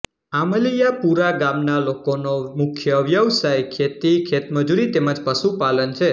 આમલિયાપુરા ગામના લોકોનો મુખ્ય વ્યવસાય ખેતી ખેતમજૂરી તેમ જ પશુપાલન છે